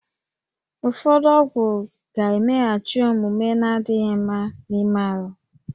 Ụfọdụ ọgwụ ga-emeghachi omume na-adịghị mma n'ime ahụ